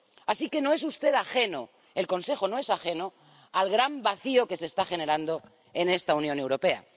Así que no es usted ajeno —el Consejo no es ajeno— al gran vacío que se está generando en esta Unión Europea.